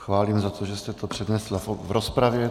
Chválím za to, že jste to přednesla v rozpravě.